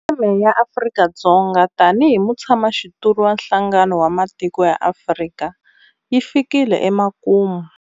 Theme ya Afrika-Dzonga tanihi mutshamaxitulu wa Nhlangano wa Matiko ya Afrika yi fikile emakumu.